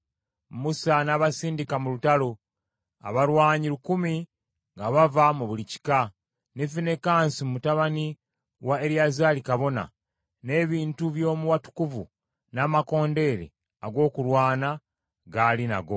Musa n’abasindika mu lutalo, abalwanyi lukumi nga bava mu buli kika; ne Finekaasi mutabani wa Eriyazaali kabona, n’ebintu by’omu watukuvu n’amakondeere ag’okulwana ng’ali nago.